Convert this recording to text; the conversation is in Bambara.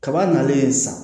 Kaba nalen sisan